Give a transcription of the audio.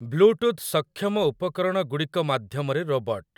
bluetooth ସକ୍ଷମ ଉପକରଣଗୁଡ଼ିକ ମାଧ୍ୟମରେ ରୋବଟ୍